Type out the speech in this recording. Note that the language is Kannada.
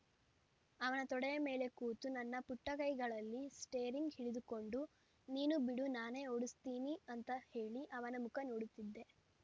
ಅವನ ತೊಡೆಯ ಮೇಲೆ ಕೂತು ನನ್ನ ಪುಟ್ಟಕೈಗಳಲ್ಲಿ ಸ್ಟೇರಿಂಗ್‌ ಹಿಡಿದುಕೊಂಡು ನೀನು ಬಿಡು ನಾನೇ ಓಡುಸ್ತೀನಿ ಅಂತ ಹೇಳಿ ಅವನ ಮುಖ ನೋಡುತ್ತಿದ್ದೆ